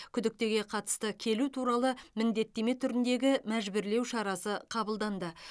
күдіктіге қатысты келу туралы міндеттеме түріндегі мәжбүрлеу шарасы қабылданды